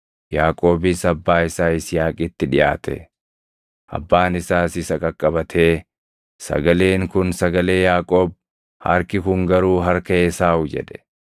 Yaaqoobis abbaa isaa Yisihaaqitti dhiʼaate; abbaan isaas isa qaqqabatee, “Sagaleen kun sagalee Yaaqoob; harki kun garuu harka Esaawu” jedhe.